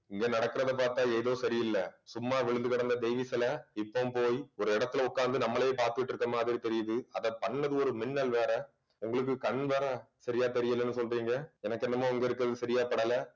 இங்க நடக்குறத பார்த்தா ஏதோ சரியில்ல சும்மா விழுந்து கெடந்த தேவி சிலை இப்பவும் போயி ஒரு இடத்துல உட்கார்ந்து நம்மளையே பார்த்துட்டு இருக்கிற மாதிரி தெரியுது அதை பண்ணது ஒரு மின்னல் வேற உங்களுக்கு கண் வேற சரியா தெரியலன்னு சொல்றீங்க எனக்கு என்னமோ அங்க இருக்கிறது சரியா படல